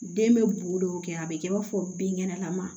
Den bɛ bon dɔw kɛ a bɛ kɛ i b'a fɔ binkɛnɛlama